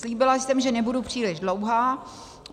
Slíbila jsem, že nebudu příliš dlouhá.